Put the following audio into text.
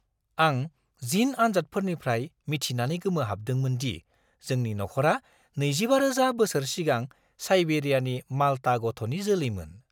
आं जिन आनजादफोरनिफ्राय मिथिनानै गोमोहाबदोंमोनदि जोंनि नख'रा 25,000 बोसोर सिगां साइबेरियानि माल्टा गथ'नि जोलैमोन।